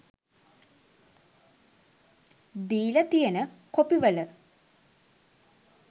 දීලා තියෙන කොපිවල